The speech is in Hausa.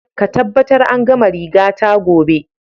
Ka tabbatar an gama rigata gobe!